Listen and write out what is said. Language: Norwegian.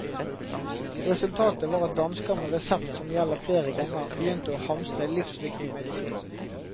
Resultatet var at dansker med resept som gjelder flere ganger, begynte å hamstre livsviktig medisin.